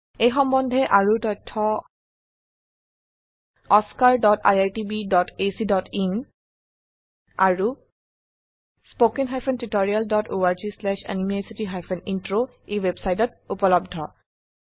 এই সম্বন্ধে আৰু তথ্য oscariitbacইন আৰু httpspoken tutorialorgNMEICT Intro ওয়েবসাইটত উপলব্ধ